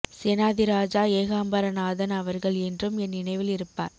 சேனாதிராஜா ஏகாம்பரநாதன் அவர்கள் என்றும் என் நினைவில் இருப்பார்